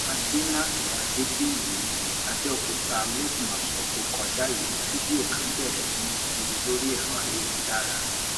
àdèmàkè àdébíyì abẹòkúta lópin ọsẹ tó kọjá yìí ní fídíò kan bẹrẹ sí í lọ kiri lórí ẹrọ ayélujára